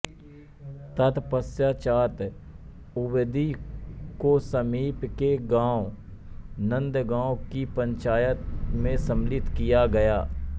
तत्पश्चात उबदी को समीप के गांव नन्दगाँव की पंचायत में सम्मिलित किया गया